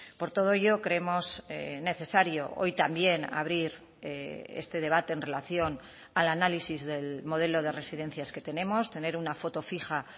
por todo ello creemos necesario hoy también abrir este debate en relación al análisis del modelo de residencias que tenemos tener una foto fija